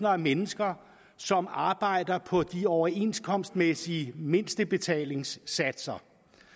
af mennesker som arbejder på de overenskomstmæssige mindstebetalingssatser